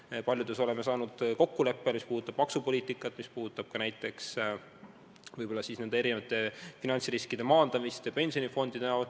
Paljudes asjades oleme jõudnud kokkuleppele – see puudutab maksupoliitikat ja näiteks ka erinevate finantsriskide maandamist pensionifondide näol.